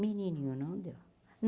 Menininho não deu.